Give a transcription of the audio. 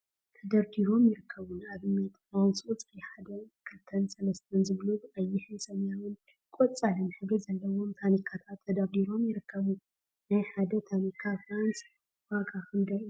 ተደርዲሮም ይርከቡ፡፡ ንአብነት ፍራንስ ቁፅሪ 1፣2ን 3 ዝብሉ ብቀይሕ፣ ሰማያዊን ቆፃልን ሕብሪ ዘለዎም ታኒካታት ተደርዲሮም ይርከቡ፡፡ ናይ ሓደ ታኒካ ፍራንስ ዋጋ ክንደይ እዩ?